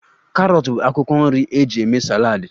Karọt bụ akwụkwọ nri eji eme saladi